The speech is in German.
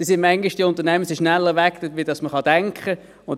Die Unternehmen sind manchmal schneller weg als man sich denken kann.